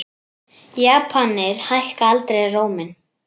Japanir hækka aldrei róminn.